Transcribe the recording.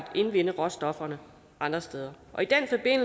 indvinde råstofferne andre steder